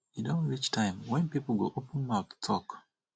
e don reach time wen people go open mouth talk